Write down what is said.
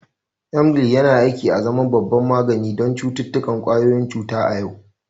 Emgyl yana aiki azaman babban magani don cututtukan ƙwayoyin cuta a yau.